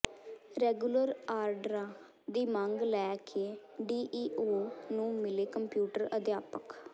regular ਆਰਡਰਾਂ ਦੀ ਮੰਗ ਲੈ ਕੇ ਡੀਈਓ ਨੂੰ ਮਿਲੇ ਕੰਪਿਊਟਰ ਅਧਿਆਪਕ